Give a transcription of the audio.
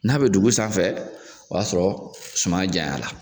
N'a be dugu sanfɛ ,o ya sɔrɔ suman janya la.